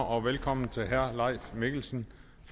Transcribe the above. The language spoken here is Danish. og velkommen til herre leif mikkelsen